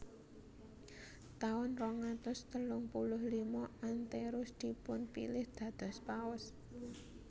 Taun rong atus telung puluh lima Anterus dipunpilih dados Paus